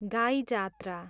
गाई जात्रा